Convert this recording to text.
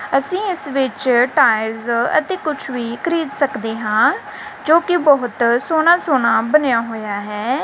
ਅੱਸੀ ਇੱਸ ਵਿੱਚ ਟਾਇਲਸ ਅਤੇ ਕੁੱਛ ਵੀ ਖ਼ਰੀਦ ਸਕਦੇ ਹਾਂ ਜੋਕੀ ਬਹੁਤ ਸੋਹਨਾ ਸੋਹਨਾ ਬਣਿਆ ਹੋਇਆ ਹੈ।